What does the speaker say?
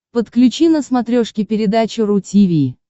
подключи на смотрешке передачу ру ти ви